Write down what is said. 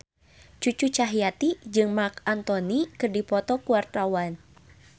Cucu Cahyati jeung Marc Anthony keur dipoto ku wartawan